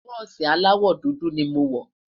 bùsi alawọ dúdú ní mọ wò